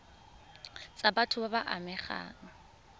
tsa batho ba ba amegang